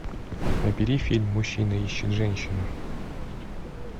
набери фильм мужчина ищет женщину